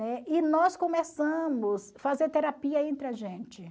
E nós começamos a fazer terapia entre a gente, né?